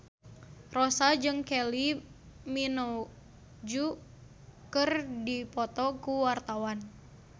Rossa jeung Kylie Minogue keur dipoto ku wartawan